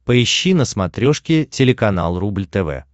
поищи на смотрешке телеканал рубль тв